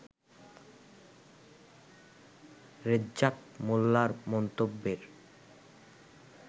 রেজ্জাক মোল্লার মন্তব্যের